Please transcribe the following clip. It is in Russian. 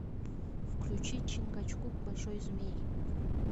включи чингачгук большой змей